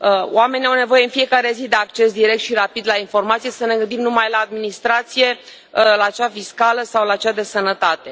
Oamenii au nevoie în fiecare zi de acces direct și rapid la informații, să ne gândim numai la administrație, la cea fiscală sau la cea de sănătate.